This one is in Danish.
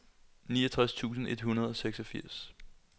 niogtres tusind et hundrede og seksogfirs